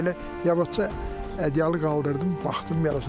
Belə yavaşca ədyalı qaldırdım, baxdım yarasına.